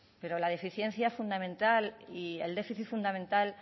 pero la deficiencia fundamental y el déficit fundamental